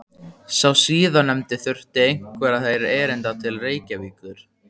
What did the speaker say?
Sá síðarnefndi þurfti einhverra erinda til Reykjavíkur.